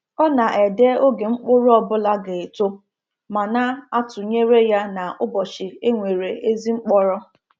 Ọ na-ede oge mkpụrụ ọ bụla ga-eto ma na-atụnyere ya na ụbọchị e nwere ezi mkpọrọ.